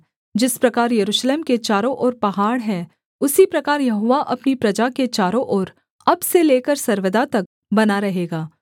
जिस प्रकार यरूशलेम के चारों ओर पहाड़ हैं उसी प्रकार यहोवा अपनी प्रजा के चारों ओर अब से लेकर सर्वदा तक बना रहेगा